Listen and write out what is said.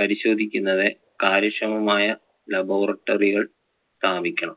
പരിശോധിക്കുന്നത് കാര്യക്ഷേമമായ laboratry കൾ സ്ഥാപിക്കണം.